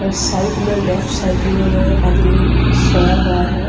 और साइड में left side में ओ एक आदमी सोया हुआ है।